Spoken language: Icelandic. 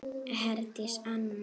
Herdís Anna.